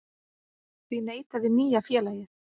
Því neitaði nýja félagið